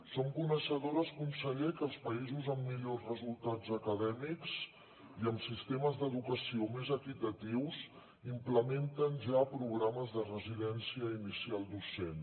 som coneixedores conseller que els països amb millors resultats acadèmics i amb sistemes d’educació més equitatius implementen ja programes de residència inicial docent